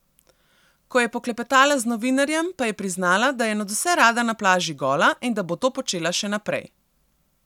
Ko je poklepetala z novinarjem pa je priznala, da je nadvse rada na plaži gola in da bo to počela še naprej.